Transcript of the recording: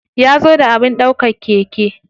Ya zo da abin ɗaukar keke.